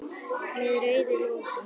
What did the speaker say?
Með rauðu loki.